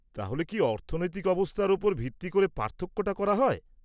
-তাহলে কি অর্থনৈতিক অবস্থার ওপর ভিত্তি করে পার্থক্যটা করা হয়?